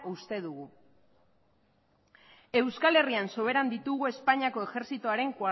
uste dugu euskal herrian soberan ditugu espainiako ejertzitoaren